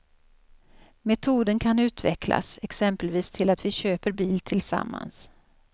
Metoden kan utvecklas, exempelvis till att vi köper bil tillsammans.